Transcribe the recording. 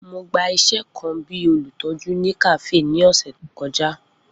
Mo gba iṣẹ kan bi olutọju ni kafe ni ọsẹ to kọja.